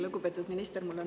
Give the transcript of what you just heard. Lugupeetud minister!